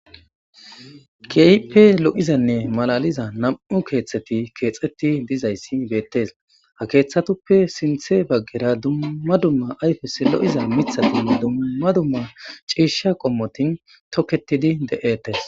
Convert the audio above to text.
keype lo7izanne malaliza nam7u keeththeti keexeti dizayssi beettees ha keeththatuppe sinthe baggera dumma dumma ayfes lo7iza mithatinne dumma dumma ciisha qommotin toketidi de7etes